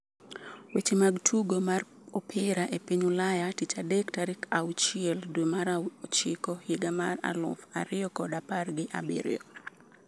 Weche mag tugo mar opira e piny Ulaya tich adek tarik auchiel dwe mar ochiko higa mar aluf ariyo kod apar gi abiriyo